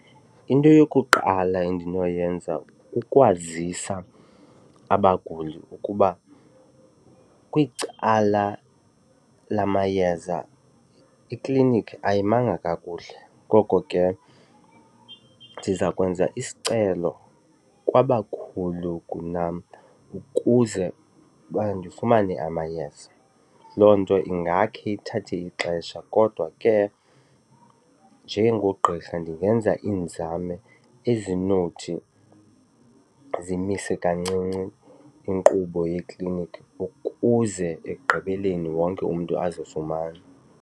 Into yokuqala endinoyenza kukwazisa abaguli ukuba kwicala lamayeza iklinikhi ayimanga kakuhle ngoko ke ndiza kwenza isicelo kwabakhulu kunam ukuze uba ndifumane amayeza. Loo nto ingakhe ithathe ixesha kodwa ke njengogqirha ndingenza iinzame ezinothi zimise kancinci inkqubo yeklinikhi ukuze ekugqibeleni wonke umntu azofumana.